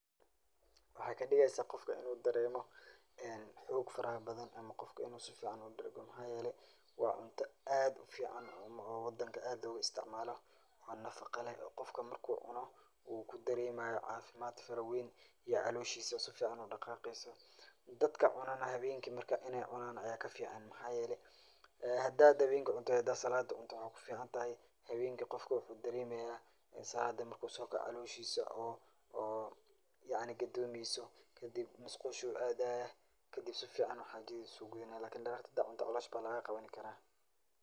Waxay kadogeysa gofka inu daremo, en xog faraxabadhan amaa gofka inu sugican udargo, maxa yele wa cunta ad uficaan oo wadanka ad logaisticmalo, o nafaqa lex, gofka marku cuno u kudaremayo cafimadh farawen iyo caloshisaa o sufican udaqaqeyso, dadka cunanax xawenki marka inay cunan aya kafican maxayelee xadad xawenki cunto iyo xadad salatii cunto waxay kuficantaxay xawenki gofka wuxu daremaya salatii marku sokoco caloshisa o oo yacni qadomeyso kadib musqushu adhaa, kadib sufican xajadhisa ugudhuna lakin dararti xadad cunto calosha aya lagaqawanikara.